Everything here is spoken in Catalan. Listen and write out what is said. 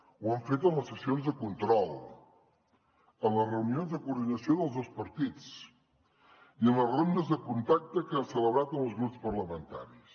ho hem fet en les sessions de control en les reunions de coordinació dels dos partits i en les rondes de contacte que hem celebrat amb els grups parlamentaris